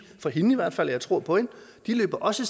fra hende i hvert fald og jeg tror på hende at de også